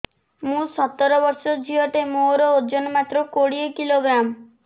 ମୁଁ ସତର ବର୍ଷ ଝିଅ ଟେ ମୋର ଓଜନ ମାତ୍ର କୋଡ଼ିଏ କିଲୋଗ୍ରାମ